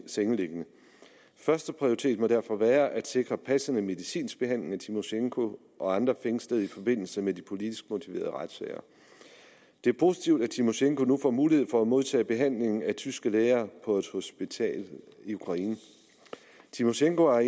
sengeliggende første prioritet må derfor være at sikre passende medicinsk behandling af tymosjenko og andre fængslede i forbindelse med de politisk motiverede retssager det er positivt at tymosjenko nu får mulighed for at modtage behandling af tyske læger på et hospital i ukraine tymosjenko har